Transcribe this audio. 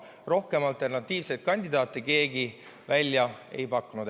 Rohkem alternatiivseid kandidaate keegi välja ei pakkunud.